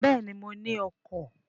Béèni, mo ní ọkọ̀